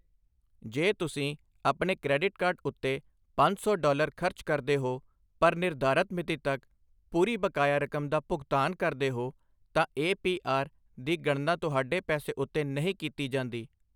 ਜੇ ਤੁਸੀਂ ਆਪਣੇ ਕ੍ਰੈਡਿਟ ਕਾਰਡ ਉੱਤੇ ਪੰਜ ਸੌ ਡਾਲਰ ਖ਼ਰਚ ਕਰਦੇ ਹੋ ਪਰ ਨਿਰਧਾਰਤ ਮਿਤੀ ਤੱਕ ਪੂਰੀ ਬਕਾਇਆ ਰਕਮ ਦਾ ਭੁਗਤਾਨ ਕਰਦੇ ਹੋ, ਤਾਂ ਏ. ਪੀ. ਆਰ. ਦੀ ਗਣਨਾ ਤੁਹਾਡੇ ਪੈਸੇ ਉੱਤੇ ਨਹੀਂ ਕੀਤੀ ਜਾਂਦੀ।